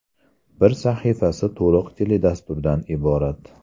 Bir sahifasi to‘liq teledasturdan iborat.